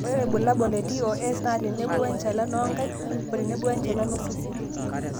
ore ilbulabul le TOS naa tenebo we enchalan oongaik oo tenebo oo enchalan oosesen